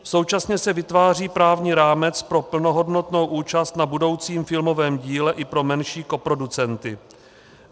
Současně se vytváří právní rámec pro plnohodnotnou účast na budoucím filmovém díle i pro menší koproducenty.